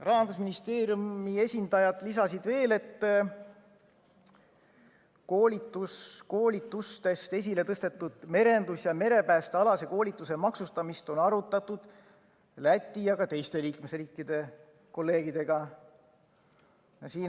Rahandusministeeriumi esindajad lisasid veel, et koolitustest esile tõstetud merendus‑ ja merepäästealase koolituse maksustamist on arutatud Läti ja ka teiste liikmesriikide kolleegidega.